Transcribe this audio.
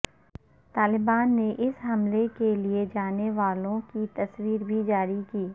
طالبان نے اس حملے کے لیے جانے والوں کی تصویر بھی جاری کی